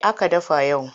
Me aka dafa yau?